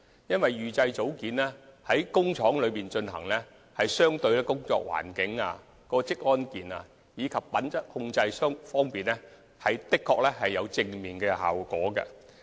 由於預製組件在工廠生產，在工作環境、職安健及品質控制方面，相對而言確有正面的效果。